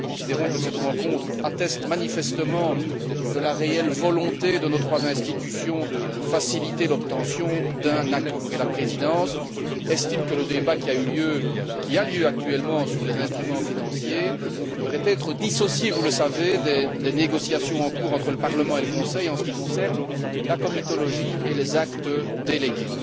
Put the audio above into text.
Nous considérons que cette rencontre atteste manifestement de la réelle volonté de nos trois institutions de faciliter l'obtention d'un accord, et la Présidence estime que le débat qui a lieu actuellement sur les instruments financiers devrait être dissocié, vous le savez, des négociations en cours entre le Parlement et le Conseil en ce qui concerne la comitologie et les actes délégués.